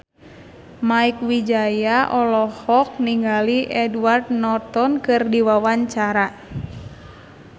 Mieke Wijaya olohok ningali Edward Norton keur diwawancara